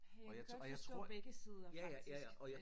Jeg kan godt forstå begge sider faktisk